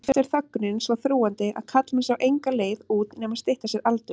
Vítaspyrnudómur hefði verið einum of mikið.